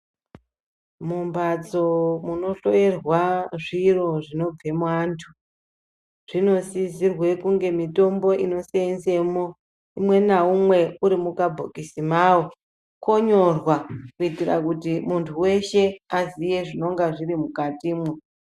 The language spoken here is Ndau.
Mumhatso munohloyerwa zviro zvinobve muantu, zvinosisirwe kunge mitombo inoseenzemo, umwenaumwe uri mukabhokisi kawo konyorwa kuitira kuti muntu weshe aziye zvinenge zvirimukatimo.